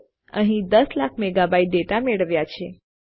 તો આપણે અહીં દસ લાખ મેગાબાઇટ ડેટા મેળવ્યા છે